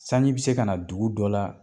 Sanji bi se kana dugu dɔ la